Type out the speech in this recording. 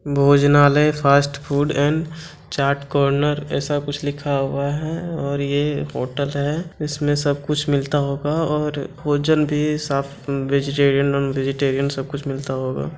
भोजनालय fast food and chaat corner ऐसा कुछ लिखा हुआ है और ये होटल है इसमे सब कुछ मिलता होगा और भोजन भी वेजिटेरीअन नॉन-वेजिटेरीअन सब कुछ मिलता होगा ।